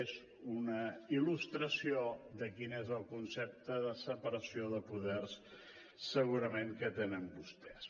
és una il·lustració de quin és el concepte de separació de poders segurament que tenen vostès